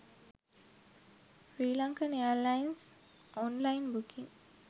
srilankan airlines online booking